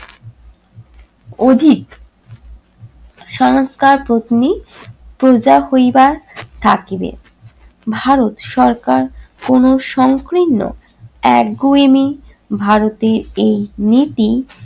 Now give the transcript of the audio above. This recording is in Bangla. অধিক সংস্কার পত্নী প্রজা হইবা থাকিবে। ভারত সরকার কোন সংকীর্ণ একগুঁয়েমি ভারতের এই নীতি